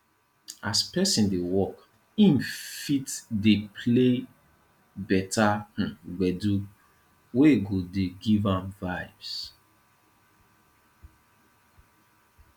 as person dey work im fit dey play better um gbedu wey go dey give am vibes